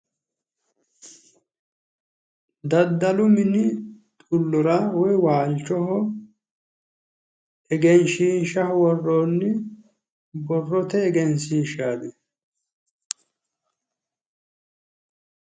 Daddalu mini xullora woyi waalchoho egenshiishshaho worroonni borrote egenshiishshaati.